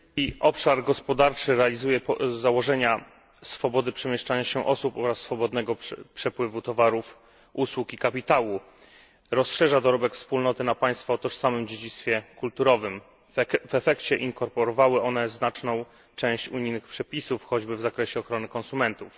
Panie Przewodniczący! Europejski Obszar Gospodarczy realizuje z założenia swobody przemieszczania się osób oraz swobodnego przepływu towarów, usług i kapitału rozszerza dorobek Wspólnoty na państwa o tożsamym dziedzictwie kulturowym. W efekcie państwa te inkorporowały znaczną część unijnych przepisów, choćby w zakresie ochrony konsumentów.